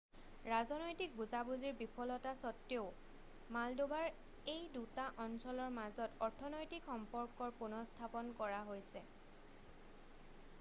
ৰাজনৈতিক বুজা বুজিৰ বিফলতা সত্বেও মালডোভাৰ এই 2টা অঞ্চলৰ মাজত অৰ্থনৈতিক সম্পৰ্কৰ পুনঃস্থাপন কৰা হৈছে